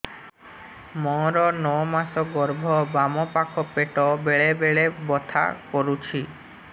ମୋର ନଅ ମାସ ଗର୍ଭ ବାମ ପାଖ ପେଟ ବେଳେ ବେଳେ ବଥା କରୁଛି